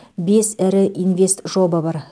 бес ірі инвестжоба бар